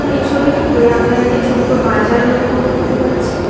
এই ছবিটিতে আমরা একটি ছোট্ট বাজার লক্ষ্য করতে পারছি।